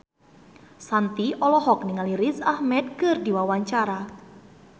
Shanti olohok ningali Riz Ahmed keur diwawancara